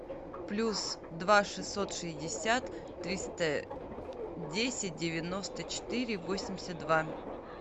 плюс два шестьсот шестьдесят триста десять девяносто четыре восемьдесят два